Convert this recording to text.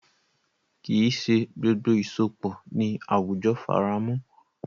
Kì í ṣe gbogbo ìsopọ̀ ni àwùjọ faramọ́.